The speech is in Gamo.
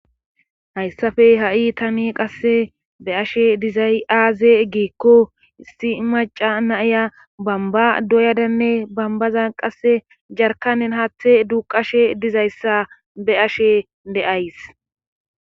hayssafe ha7i tani qasse be'ashe dizay aaze giikko issi maca naiya bamba doyadanne bambaza qasse jarkanen haaththe duuqashe dizayssa be ashe deays